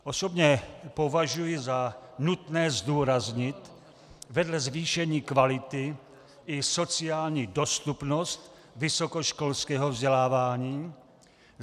Osobně považuji za nutné zdůraznit vedle zvýšení kvality i sociální dostupnost vysokoškolského vzdělávání.